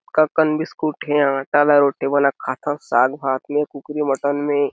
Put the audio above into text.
अतका अकन बिस्कुट है इहा आटा ल रोटी बना के खाथन साग-भात में कूकरी मटन में--